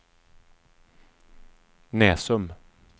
Näsum